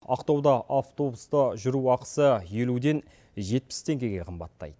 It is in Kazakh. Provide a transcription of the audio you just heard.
ақтауда автобуста жүру ақысы елуден жетпіс теңгеге қымбаттайды